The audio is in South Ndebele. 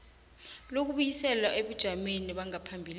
lokubuyisela ebujameni bangaphambilini